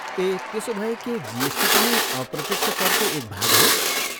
ए, त्यसोभए के जिएसटी पनि अप्रत्यक्ष करको एक भाग हो?